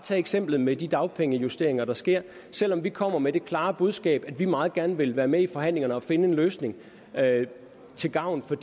eksemplet med de dagpengejusteringer der sker selv om vi kommer med det klare budskab at vi meget gerne vil være med i forhandlingerne og finde en løsning til gavn for